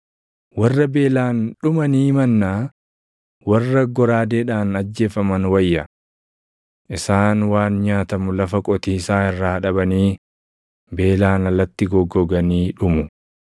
Warra beelaan dhumanii mannaa, warra goraadeedhaan ajjeefaman wayya; Isaan waan nyaatamu lafa qotiisaa irraa dhabanii beelaan alatti goggoganii dhumu.